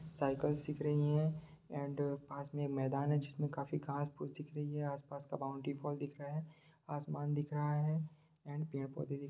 cycle सीख रही है एंड पास में एक मैदान है जिसमें काफी घास-फूस दिख रही हैं आस-पास का बाउन्ड्री फॉल दिख रहा है आसमान दिख रहा है एंड पेड़-पौधे भी --